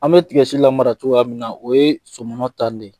An bɛ tigɛsi lamara cogoya min na o yee sɔmɔnɔ tan de.